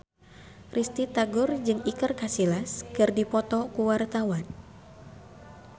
Risty Tagor jeung Iker Casillas keur dipoto ku wartawan